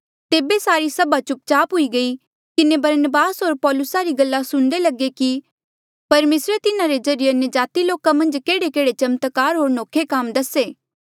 तेबे सारी सभा चुप चाप हुई किन्हें बरनबास होर पौलुसा री गल्ला सुणदे लगे कि परमेसरे तिन्हारे ज्रीए अन्यजाति लोका मन्झ केहड़ेकेहड़े चमत्कार होर नौखे काम दसे